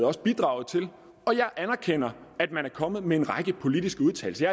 også bidraget til og jeg anerkender at man er kommet med en række politiske udtalelser